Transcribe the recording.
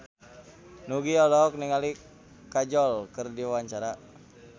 Nugie olohok ningali Kajol keur diwawancara